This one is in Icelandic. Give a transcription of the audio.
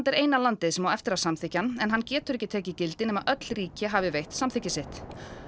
er eina landið sem á eftir að samþykkja hann en hann getur ekki tekið gildi nema öll ríki hafi veitt samþykki sitt